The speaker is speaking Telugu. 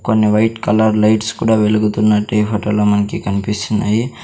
కొన్ని వైట్ కలర్ లైట్స్ కూడా వెలుగుతున్నట్టే ఈ ఫొటోలో మనకి కనిపిస్తున్నాయి.